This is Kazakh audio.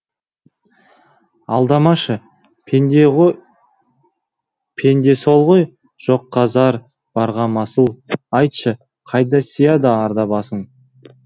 алдамашы пенде сол ғой жоққа зар барға масыл айтшы қайда сияды арда басың